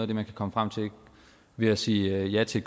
det man kan komme frem til ved at sige ja til